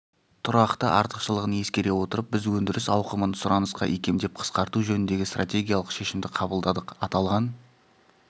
тұрақты артықшылығын ескере отырып біз өндіріс ауқымын сұранысқа икемдеп қысқарту жөніндегі стратегиялық шешімді қабылдадық аталған